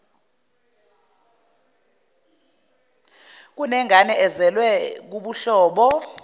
kunengane ezelwe kubuhlobo